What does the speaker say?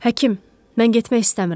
Həkim, mən getmək istəmirəm.